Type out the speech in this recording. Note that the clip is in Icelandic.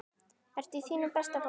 Ertu í þínu besta formi?